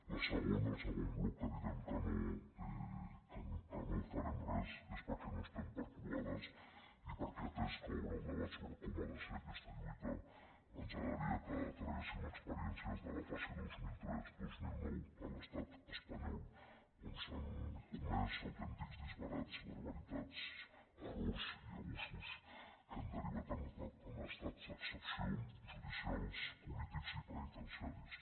la segona el segon bloc que direm que no farem res és perquè no estem per croades i perquè atès que obre el debat sobre com ha de ser aquesta lluita ens agradaria que traguéssim experiències de la fase vint milions trenta dos mil nou a l’estat espanyol on s’han comès autèntics disbarats barbaritats errors i abusos que han derivat en estats d’excepció judicials polítics i penitenciaris